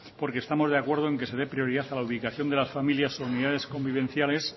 porque estamos de acuerdo en que se dé prioridad a la ubicación de las familias unidades convivenciales